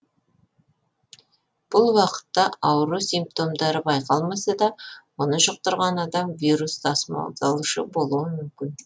бұл уақытта ауру симптомдары байқалмаса да оны жұқтырған адам вирус тасымалдаушы болуы мүмкін